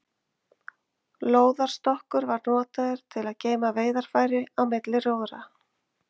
Lóðarstokkur var notaður til að geyma veiðarfæri á milli róðra.